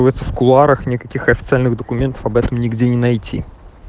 одится в кулуарах никаких официальных документов об этом нигде не найти